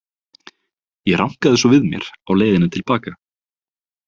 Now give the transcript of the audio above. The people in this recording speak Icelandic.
Ég rankaði svo við mér á leiðinni til baka.